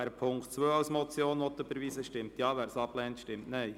Wer diesen als Motion überweisen will, stimmt Ja, wer dies ablehnt, stimmt Nein.